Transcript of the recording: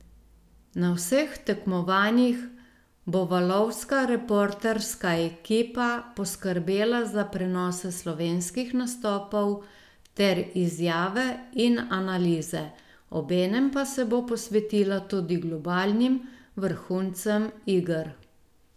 Na vseh tekmovanjih bo valovska reporterska ekipa poskrbela za prenose slovenskih nastopov ter izjave in analize, obenem pa se bo posvetila tudi globalnim vrhuncem iger.